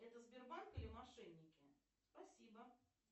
это сбербанк или мошенники спасибо